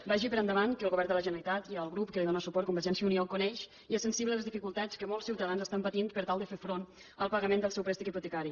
vagi per endavant que el govern de la generalitat i el grup que li dóna suport convergència i unió coneix i és sensible a les dificultats que molts ciutadans estan patint per tal de fer front al pagament del seu préstec hipotecari